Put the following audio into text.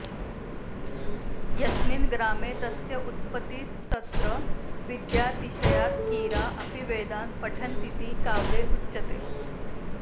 यस्मिन् ग्रामे तस्य उत्पत्तिस्तत्र विद्यातिशयात् कीरा अपि वेदान् पठन्तीति काव्ये उच्यते